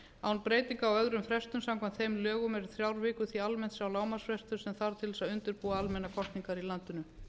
án breytinga á öðrum frestum samkvæmt þeim lögum eru þrjár vikur því almennt sá lágmarksfrestur sem þarf til að undirbúa almennar kosningar í landinu